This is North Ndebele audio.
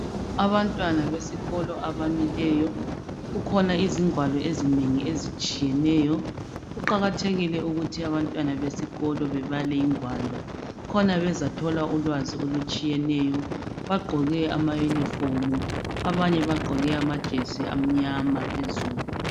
Abantwana besikolo abamileyo kukhona izingwalo ezinengi ezitshiyeneyo kuqakathekile ukuthi abantwana besikolo bebale ingwalo khona bezathola ulwazi olutshiyeneyo bagqoke ama uniform abanye bagqoke amajesi amnyama phezulu.